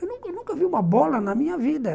Eu nunca nunca vi uma bola na minha vida.